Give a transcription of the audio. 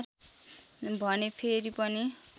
भने फेरि पनि